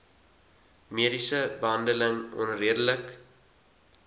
mediese behandeling onredelik